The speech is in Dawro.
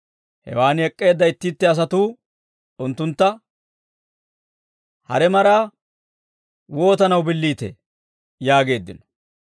Hewaan ek'k'eedda itti itti asatuu unttuntta, «Hare maraa wootanaw billiitee?» yaageeddino.